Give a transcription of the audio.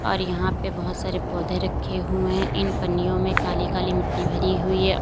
और यहां पे बहुत सारे पौधे रखे हुए हैं इन पन्नियों में काली काली मिट्टी भरी हुई है औ--